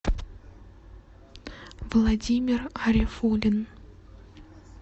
владимир арифуллин